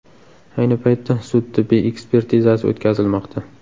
Ayni paytda sud-tibbiy ekspertizasi o‘tkazilmoqda.